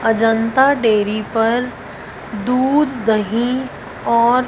Ajanta dairy पर दूध दही और--